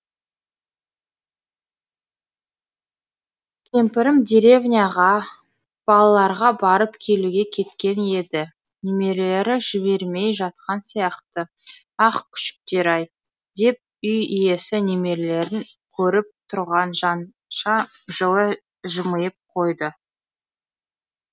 кемпірім деревняға балаларға барып келуге кеткен еді немерелері жібермей жатқан сияқты ах күшіктер ай деп үй иесі немерелерін көріп тұрған жанша жылы жымиып қойды